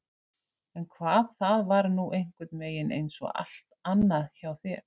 En hvað það var nú einhvernveginn einsog allt annað hjá þér!